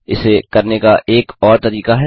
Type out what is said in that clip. इसे करने का एक और तरीका है